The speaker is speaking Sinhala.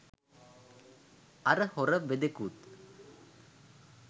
අර හොර වෙදෙකුත්